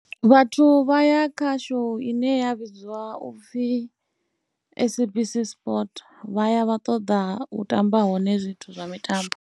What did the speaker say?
Vhathu vha ya khasho ine ya vhidziwa u pfhi SABC Sport, vha ya vha ṱoḓa u tamba hone zwithu zwa mitambo.